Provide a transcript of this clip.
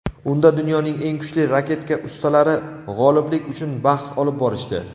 Unda dunyoning eng kuchli raketka ustalari g‘oliblik uchun bahs olib borishdi.